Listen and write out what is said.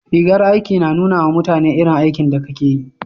rigar aiki na nuna ma mutane irin aikin da Ka ke yi